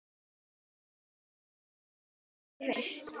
Í hvaða sæti endar Fram í haust?